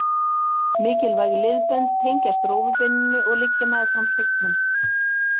Mikilvæg liðbönd tengjast rófubeininu og liggja meðfram hryggnum.